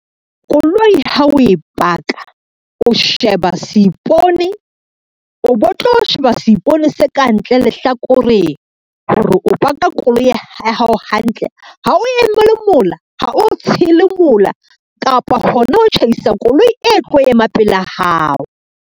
Koloi ha o e paka, o sheba seipone o bo tlo sheba seipone sa kantle lehlakoreng hore o paka koloi ya hao hantle, ha o emele mola, ha o tshele mola, kapa hona ho tjhaisa koloi e tlo ema pela hao.